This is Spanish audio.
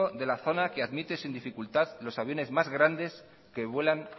de la zona que admite sin dificultad los aviones más grandes que vuelan